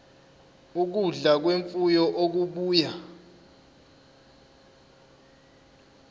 ukudla kwemfuyo okubuya